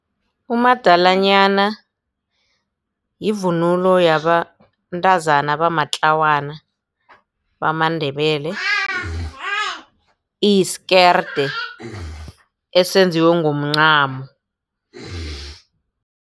Umadalanyana yivunulo yabantazana abamatlawana bamaNdebele iyisikerde esenziwe ngomncamo.